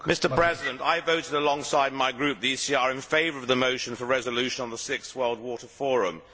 Mr President, I voted alongside my group, the ECR, in favour of the motion for a resolution on the sixth World Water Forum.